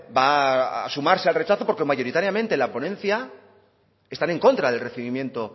va a sumarse al rechazo porque mayoritariamente la ponencia están en contra del recibimiento